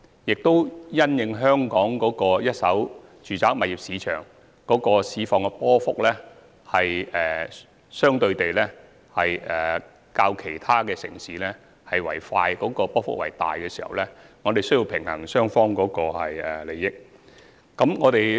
此外，因應香港一手住宅物業市場的波幅，相對較其他城市為快和大，我們需要平衡買賣雙方的利益。